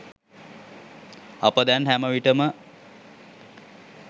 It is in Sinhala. අප දැන් හැම විටම